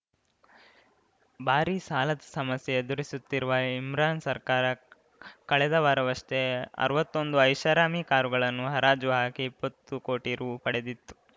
ಭಾರೀ ಸಾಲದ ಸಮಸ್ಯೆ ಎದುರಿಸುತ್ತಿರುವ ಇಮ್ರಾನ್‌ ಸರ್ಕಾರ ಕಳೆದ ವಾರವಷ್ಟೇ ಅರ್ವತ್ತೊಂದು ಐಷಾರಾಮಿ ಕಾರುಗಳನ್ನು ಹರಾಜು ಹಾಕಿ ಇಪ್ಪತ್ತು ಕೋಟಿ ರು ಪಡೆದಿತ್ತು